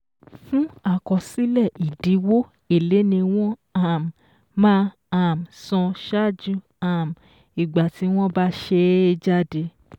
Fún àkọsílẹ̀ ìdíwó, èlé ni wọ́n um máa um san ṣáájú um ìgbà tí wọ́n bá ṣe é jáde.